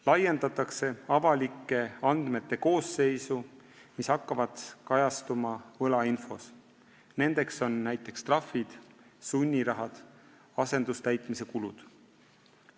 Lisatakse avalikke andmeid, mis hakkavad kajastuma võlainfos, näiteks trahvid, sunnirahad, asendustäitmise kulud.